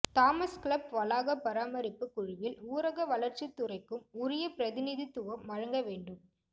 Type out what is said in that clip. Thomas club வளாக பராமரிப்பு குழுவில் ஊரக வளர்ச்சித்துறைக்கும் உரிய பிரதிநிதித்துவம் வழங்க வேண்டும்